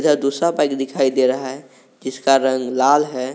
दिखाई दे रहा है जिसका रंग लाल है।